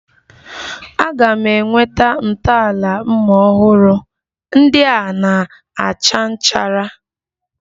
A ga m enweta ntọala mma ọhụrụ, ndị a na-acha nchara